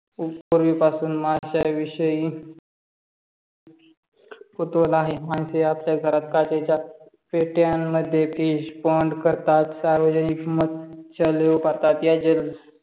पूर्वीपासूण मास्याविषयी कुतूहल आहे मासे आपल्या घरात काचेच्या पेट्यामद्धे fish pond करतात सार्वजनिक मत्स्यालय